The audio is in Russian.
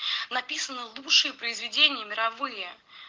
написаны лучшие произведения мировые